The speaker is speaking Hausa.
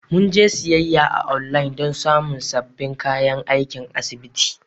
Mun je siyayya a online don samun sabbin kayan aikin asibiti.